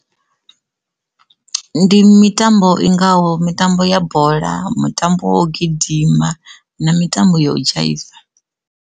Ndi mitambo i ngaho mitambo ya bola, mutambo wa u gidima na mitambo ya u dzhaiva.